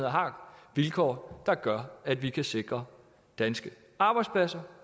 har vilkår der gør at vi kan sikre danske arbejdspladser